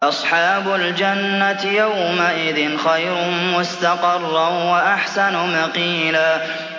أَصْحَابُ الْجَنَّةِ يَوْمَئِذٍ خَيْرٌ مُّسْتَقَرًّا وَأَحْسَنُ مَقِيلًا